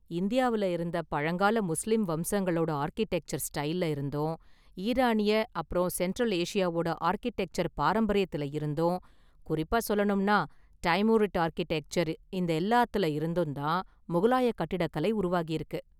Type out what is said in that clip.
இந்தியாவுல இருந்த பழங்கால முஸ்லிம் வம்சங்களோட ஆர்க்கிடெக்சர் ஸ்டைல்ல இருந்தும், ஈரானிய அப்பறம் சென்ட்ரல் ஏசியாவோட ஆர்க்கிடெக்சர் பாரம்பரியத்துல இருந்தும், குறிப்பா சொல்லணும்னா டைமுரிட் ஆர்க்கிடெக்சர், இந்த எல்லாத்துல இருந்தும் தான் முகலாய கட்டிடக்கலை உருவாகி இருக்கு.